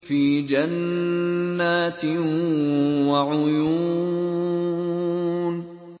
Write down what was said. فِي جَنَّاتٍ وَعُيُونٍ